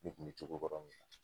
Ne kun mi cogo kɔrɔ min na